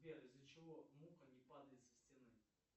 сбер из за чего муха не падает со стены